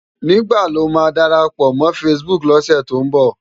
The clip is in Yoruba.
Nigbá ló má dárápò mò fãsibúk lòsè tó n bò?